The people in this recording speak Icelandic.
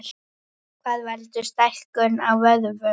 Hvað veldur stækkun á vöðvum?